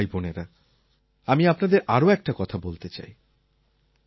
আমার কৃষক ভাইবোনেরা আমি আপনাদের আরও একটা কথা বলতে চাই